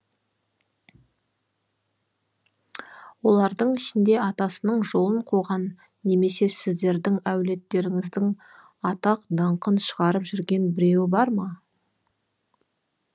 олардың ішінде атасының жолын қуған немесе сіздердің әулеттеріңіздің атақ даңқын шығарып жүрген біреуі бар ма